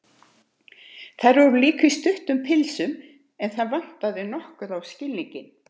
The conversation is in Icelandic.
Þær voru líka í stuttum pilsum, en það vantaði nokkuð á skilninginn.